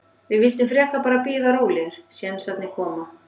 Við vildum frekar bara bíða rólegir, sénsarnir koma.